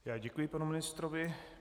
Já děkuji panu ministrovi.